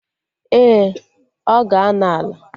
Ee, ọ ga-anọ Ala